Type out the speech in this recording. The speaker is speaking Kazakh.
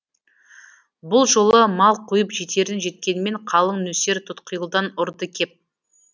бұл жолы мал қуып жетерін жеткенмен қалың нөсер тұтқиылдан ұрды кеп